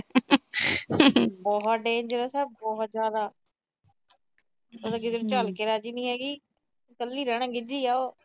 ਬਹੁਤ ਡੈਂਜਰਸ ਹੈ, ਬਹੁਤ ਜਿਆਦਾ। ਓ ਤਾਂ ਕਿਸੇ ਨੂੰ ਝੱਲ ਕੇ ਰਾਜੀ ਨੀ। ਕੱਲੀ ਰਹਿਣਾ ਗਿੱਜੀ ਆ ਉਹ।